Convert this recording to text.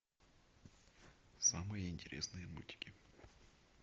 самые интересные мультики